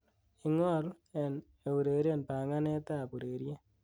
ingol and eureren panganet ab ureryet